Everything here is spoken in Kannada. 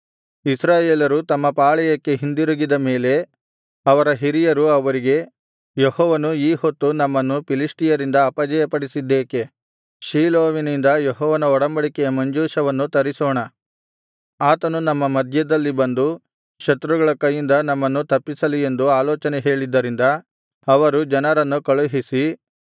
ಇಸ್ರಾಯೇಲರು ತಮ್ಮ ಪಾಳೆಯಕ್ಕೆ ಹಿಂದಿರುಗಿದ ಮೇಲೆ ಅವರ ಹಿರಿಯರು ಅವರಿಗೆ ಯೆಹೋವನು ಈ ಹೊತ್ತು ನಮ್ಮನ್ನು ಫಿಲಿಷ್ಟಿಯರಿಂದ ಅಪಜಯಪಡಿಸಿದ್ದೇಕೆ ಶೀಲೋವಿನಿಂದ ಯೆಹೋವನ ಒಡಂಬಡಿಕೆಯ ಮಂಜೂಷವನ್ನು ತರಿಸೋಣ ಆತನು ನಮ್ಮ ಮಧ್ಯದಲ್ಲಿ ಬಂದು ಶತ್ರುಗಳ ಕೈಯಿಂದ ನಮ್ಮನ್ನು ತಪ್ಪಿಸಲಿ ಎಂದು ಆಲೋಚನೆ ಹೇಳಿದ್ದರಿಂದ ಅವರು ಜನರನ್ನು ಕಳುಹಿಸಿ